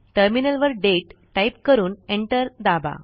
टर्मिनलवर दाते टाईप करून एंटर दाबा